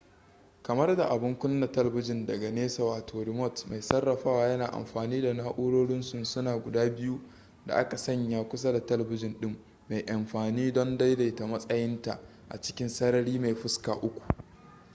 kamar da abun kuna talabijin daga nesa wato remote mai sarrafawa yana amfani da na'urorin sunsuna guda biyu da aka sanya kusa da talabijin ɗin mai amfani don daidaita matsayinta a cikin sarari mai fuska uku